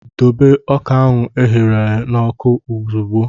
Dobe ọka ahụ e ahuru na oku ozugbo!